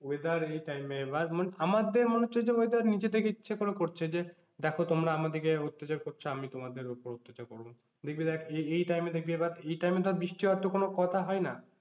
weather এই time এ এবার আমাদের মনে হচ্ছে যে weather নিজে থেকে ইচ্ছে করে করছে যে দেখো তোমরা আমাদেরকে অত্যাচার করছো আমি তোমাদের ওপর অত্যাচার করবো। দেখবি দেখ এই এই time এ দেখবি এবার এই time এ ধর বৃষ্টি হওয়ার তো কোন কথা হয়না,